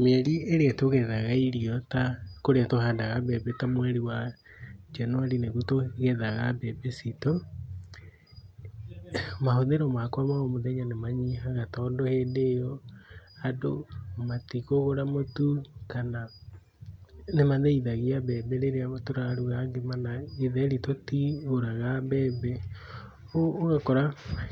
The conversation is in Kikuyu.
Mĩeri ĩrĩa tũgethaga irio ta kũrĩa tũhandaga mbembe, ta mweri wa January niguo tũgethaga mbembe ciitũ. Mahũthĩro makwa ma omũthenya nĩ manyihaga tondũ hĩndĩ ĩyo, andũ matikũgũra mũtu kana nĩ mathĩithagia mbembe rĩrĩa tũraruga ngima, na gĩtheri tũtigũraga mbembe. Ũguo ũgakora